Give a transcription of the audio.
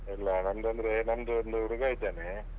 ಎಲ್ಲ ನಮ್ದ್ ಅಂದ್ರೆ ನಮ್ದು ಒಂದ್ ಹುಡುಗಾ ಇದ್ದಾನೆ.